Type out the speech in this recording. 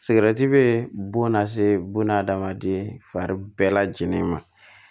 Sigɛrɛti bɛ bon lase buna adamaden fari bɛɛ lajɛlen ma